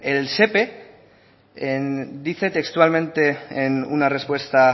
el sepe dice textualmente en una respuesta